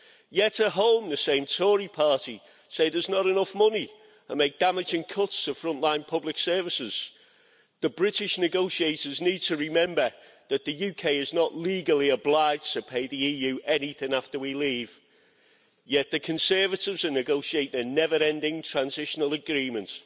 Yet at home, the same Tory party says there is not enough money and makes damaging cuts to front line public services. The British negotiators need to remember that the UK is not legally obliged to pay the EU anything after we leave, yet the Conservatives are negotiating a never ending transitional agreement,